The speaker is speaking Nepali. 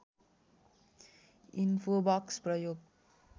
इन्फोबक्स प्रयोग